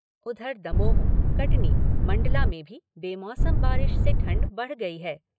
उधर दमोह, कटनी, मंडला में भी बेमौसम बारिश से ठंड बढ़ गई है।